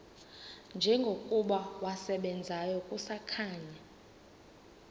njengokuba wasebenzayo kusakhanya